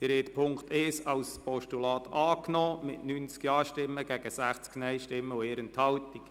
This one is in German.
Sie haben Punkt 1 als Postulat angenommen, mit 90 Ja- gegen 60 Nein-Stimmen bei 1 Enthaltung.